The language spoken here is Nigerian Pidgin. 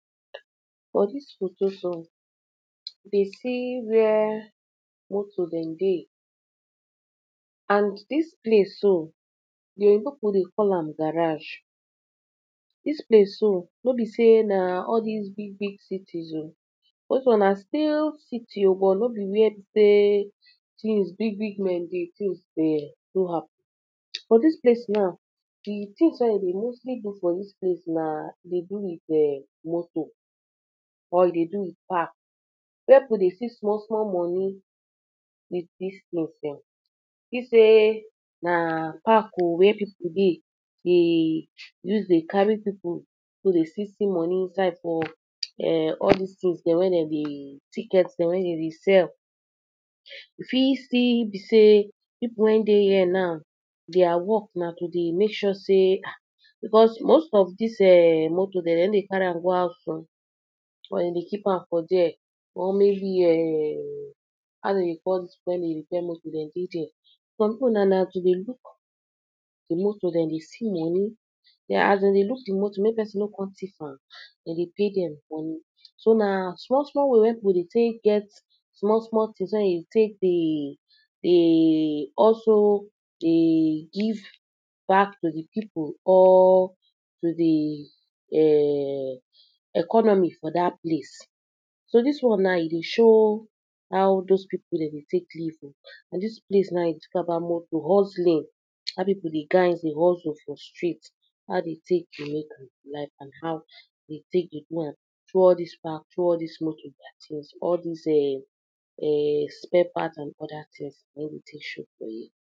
For dis photo so, we dey see where motor dem dey and dis place so, the oyibo people dey call am garage. Dis place so, no be sey na all dis big big cities oo those ones na still city oo but no be where be sey things big big men dey, things dey do happen, but dis place now, de things wey dem dey mostly do for dis place na, de do with um motor or e de do with park, where people dey see small small money dey take load dem. You see sey na park oo wey people dey, dey use de carry people wey dey fit see money inside for ehm all dis things dem wey dem de, tickets dem wey dem dey sell. You fit see be sey, people wey dey here now their work na to de make sure sey ah, because most of dis um motor dem, dem no dey carry am go out oo but dem dey keep am for there or maybe um how dem dey call dis people wey dey repair motor dem dey there. Some people now na to de look de motor, dem de see money, as dem dey look de motor make person no come thief am, dem dey pay dem money. So na small small way wey people dey take get small small things wey dem de take dey dey also de give back to de people or to de um economy for dat place. So dis one now e dey show how those people dem de take live oo and dis place now we dey talk about motor, hustling, how people dey find dey hustle for street, how dey take de make life and how dey take dey do am towards dis park towards dis motor, dat is all dis um spare parts and other things, na him dey take show for here